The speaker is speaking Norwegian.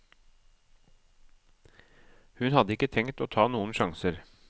Hun hadde ikke tenkt å ta noen sjanser.